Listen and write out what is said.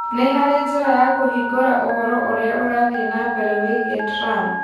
Nĩ harĩ njĩra ya kũhingũra ũhoro ũrĩa ũrathiĩ na mbere wĩgiĩ Trump